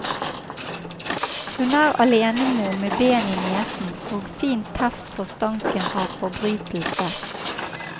Hun er alenemor med ben i nesen og fin teft for stanken av forbrytelse.